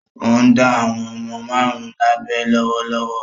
Ó ń dá àwọn ọmọ márùn-ún lábẹ lọ́wọ́lọ́wọ́.